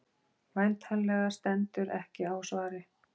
Væntanlega stendur ekki á svari.